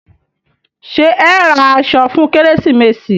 Ṣé ẹ ó ra aṣọ fún kérésìmesì?